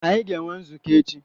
Anyị ga-enwe nzukọ echi.